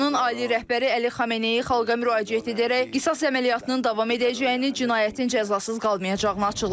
İranın ali rəhbəri Əli Xamenei xalqa müraciət edərək qisas əməliyyatının davam edəcəyini, cinayətin cəzasız qalmayacağını açıqlayıb.